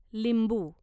लिंबू